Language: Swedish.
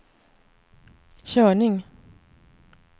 körning